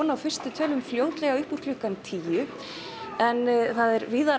á fyrstu tölum fljótlega upp úr klukkan tíu en það er víðar